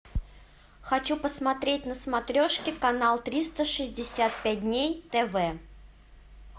хочу посмотреть на смотрешке канал триста шестьдесят пять дней тв